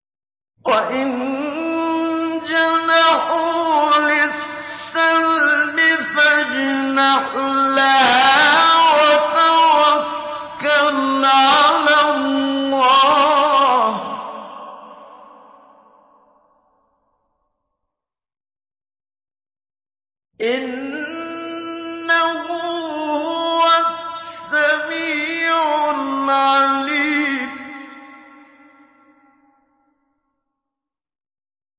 ۞ وَإِن جَنَحُوا لِلسَّلْمِ فَاجْنَحْ لَهَا وَتَوَكَّلْ عَلَى اللَّهِ ۚ إِنَّهُ هُوَ السَّمِيعُ الْعَلِيمُ